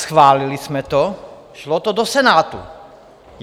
Schválili jsme to, šlo to do Senátu.